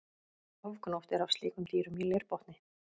Ofgnótt er af slíkum dýrum í leirbotni.